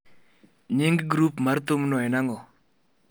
Nying grup mar thumno en ang’o?